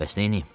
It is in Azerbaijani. Bəs neyniyim?